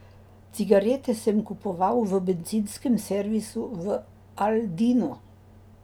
Cigarete sem kupoval v bencinskem servisu v Aldinu.